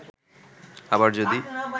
আবার যদি